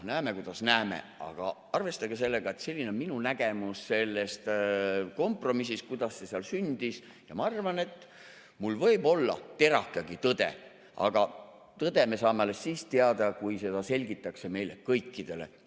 Näeme, kuidas näeme, aga arvestage sellega, et selline on minu nägemus sellest kompromissist, kuidas see seal sündis, ja ma arvan, et mul võib olla terake tõde, aga tõde me saame alles siis teada, kui seda selgitakse meile kõikidele.